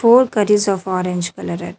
Whole curries of orange colourer.